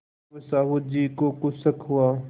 तब साहु जी को कुछ शक हुआ